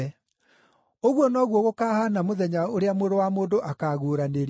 “Ũguo noguo gũkahaana mũthenya ũrĩa Mũrũ wa Mũndũ akaaguũranĩrio.